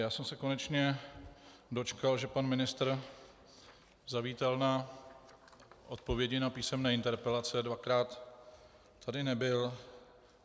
Já jsem se konečně dočkal, že pan ministr zavítal na odpovědi na písemné interpelace, dvakrát tady nebyl.